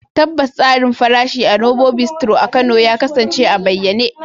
Tabbas, tsarin farashi a Novo Bistro a Kano ya kasance a bayyane.